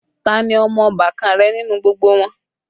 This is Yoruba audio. Ta ní ọmọ ọbàkan rẹ nínú gbogbo wọn?